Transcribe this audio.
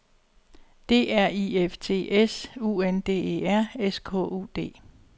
D R I F T S U N D E R S K U D